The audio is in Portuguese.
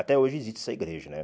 Até hoje existe essa igreja, né?